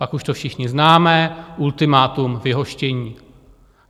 Pak už to všichni známe, ultimátum, vyhoštění.